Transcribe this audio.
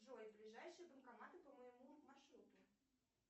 джой ближайшие банкоматы по моему маршруту